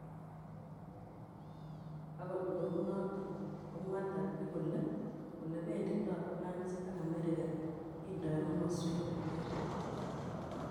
Agot kounoton komwa Turkey kole ole benditoi France ak Amerika kindoi komoswek che ter ter